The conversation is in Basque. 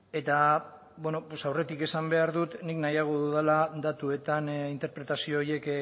eta bueno pues aurretik esan behar dut nik nahiago dudala datuetan interpretazio horiek